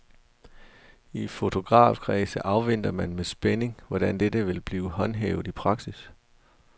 I fotografkredse afventer man med spænding, hvordan dette vil blive håndhævet i praksis.